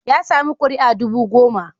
Ya sami kuri'a dubu goma.